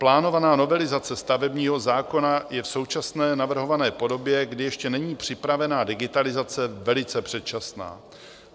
"Plánovaná novelizace stavebního zákona je v současné navrhované podobě, kdy ještě není připravena digitalizace, velice předčasná.